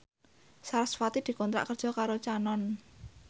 sarasvati dikontrak kerja karo Canon